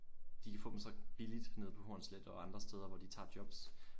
De kan få dem så billigt nede på Hornsleth og andre steder hvor de tager jobs